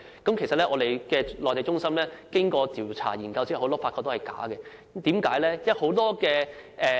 工聯會的內地中心經過調查研究後發現，很多資料是虛假的。